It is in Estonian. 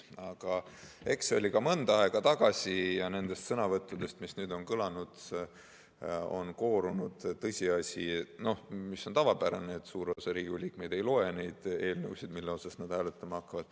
Aga eks see oli mõnda aega tagasi ja nendest sõnavõttudest, mis nüüd on kõlanud, on koorunud tõsiasi, et on tavapärane, et suur osa Riigikogu liikmeid ei loe neid eelnõusid, mida nad hääletama hakkavad.